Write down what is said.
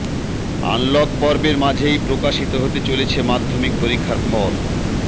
unlock পর্বের মাঝেই প্রকাশিত হতে চলেছে মাধ্যমিক পরীক্ষার ফল